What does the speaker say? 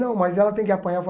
Não, mas ela tem que apanhar eu